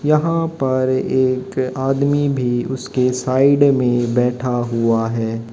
यहां पर एक आदमी भी उसके साइड में बैठा हुआ है।